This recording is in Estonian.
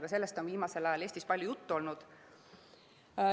Ka sellest on viimasel ajal Eestis palju juttu olnud.